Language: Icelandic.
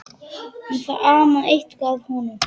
En það amaði eitthvað að honum.